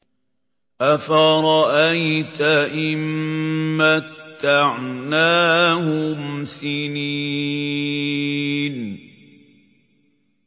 أَفَرَأَيْتَ إِن مَّتَّعْنَاهُمْ سِنِينَ